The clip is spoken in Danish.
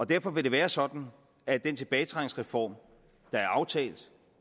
derfor vil det være sådan at den tilbagetrækningsreform der er aftalt